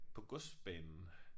På godsbanen